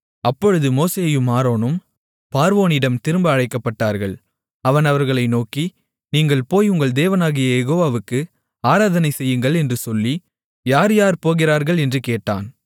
அப்பொழுது மோசேயும் ஆரோனும் பார்வோனிடம் திரும்ப அழைக்கப்பட்டார்கள் அவன் அவர்களை நோக்கி நீங்கள் போய் உங்கள் தேவனாகிய யெகோவாவுக்கு ஆராதனை செய்யுங்கள் என்று சொல்லி யார் யார் போகிறார்கள் என்று கேட்டான்